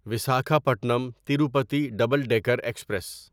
Visakhapatnam Tirupati double decker express